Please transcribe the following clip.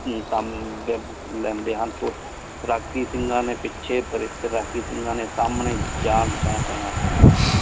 ਕਾਮ ਲੇੰਡੀ ਹਨ ਰਾਕੀ ਸਿੰਘਾਂ ਨੀ ਪੀਚੀ ਪਰੀ ਰਾਕੀ ਸਿੰਘਾਂ ਨੀ ਸੰਨੀ ਜਾ।